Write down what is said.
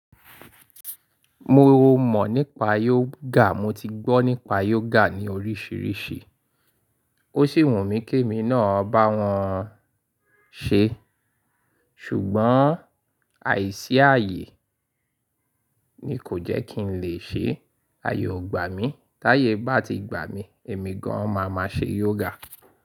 Mo mọ̀ nípa yoga, mo ti gbọ́ nípa yoga ní oríṣiríṣi. Ó sì wùn mí kí mi náà bá wọn ṣe. Ṣùgbọ́n, àìsí ààyè ni kò jẹ́ kí n lè ṣe, ààyè ó gbà mí. Táyè bá ti gbà mí, èmi gan an máa máa ṣe yoga.